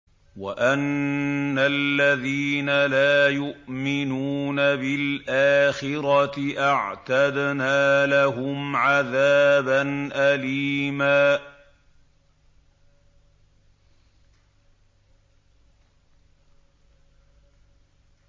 وَأَنَّ الَّذِينَ لَا يُؤْمِنُونَ بِالْآخِرَةِ أَعْتَدْنَا لَهُمْ عَذَابًا أَلِيمًا